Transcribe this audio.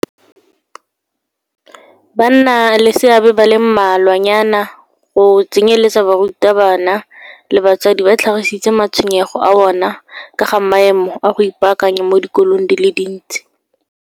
Bannaleseabe ba le mmalwanyana, go tsenyeletsa barutabana le batsadi ba tlhagisitse matshwenyego a bona ka ga maemo a go ipaakanya mo dikolong di le dintsi.